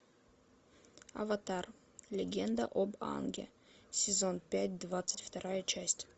аватар легенда об аанге сезон пять двадцать вторая часть